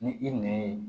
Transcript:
Ni i nɛn ye